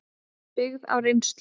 byggða á reynslu.